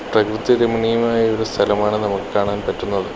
പ്രകൃതി രമണീയമായ ഒരു സ്ഥലമാണ് നമുക്ക് കാണാൻ പറ്റുന്നത്.